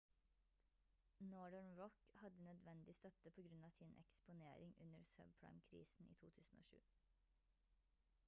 northern rock hadde nødvendig støtte på grunn av sin eksponering under subprime-krisen i 2007